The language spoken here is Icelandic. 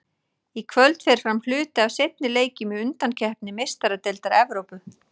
Í kvöld fer fram hluti af seinni leikjunum í undankeppni Meistaradeildar Evrópu.